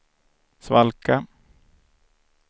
svalka